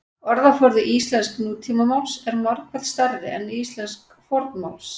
Orðaforði íslensks nútímamáls er margfalt stærri en íslensks fornmáls.